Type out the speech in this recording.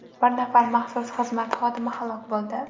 Bir nafar maxsus xizmat xodimi halok bo‘ldi.